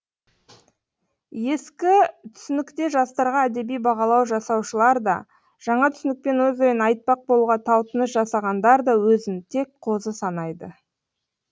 ескі түсінікте жастарға әдеби бағалау жасаушылар да жаңа түсінікпен өз ойын айтпақ болуға талпыныс жасағандар да өзін тек қозы санайды